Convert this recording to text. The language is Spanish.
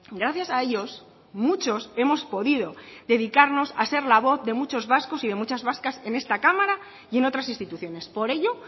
gracias a ellos muchos hemos podido dedicarnos a ser la voz de muchos vascos y de muchas vascas en esta cámara y en otras instituciones por ello